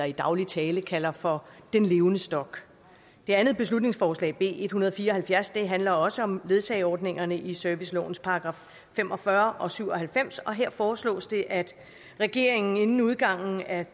i daglig tale kalder for den levende stok det andet beslutningsforslag b en hundrede og fire og halvfjerds handler også om ledsageordningerne i servicelovens paragraffer fem og fyrre og syv og halvfems og her foreslås det at regeringen inden udgangen af